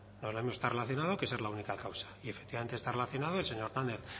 no es lo mismo estar relacionado que ser la única causa y efectivamente está relacionado el señor hernández